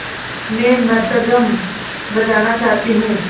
मैं मृदंगम बजाना चाहती हूँ